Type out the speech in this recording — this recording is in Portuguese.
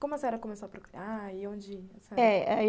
Como a senhora começou a procurar e onde... é...